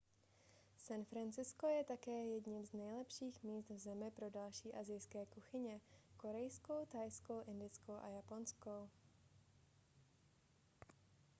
san francisco je také jedním z nejlepších míst v zemi pro další asijské kuchyně korejskou thajskou indickou a japonskou